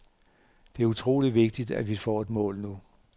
Det er utroligt vigtigt, at vi får et mål nu.